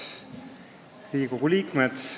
Head Riigikogu liikmed!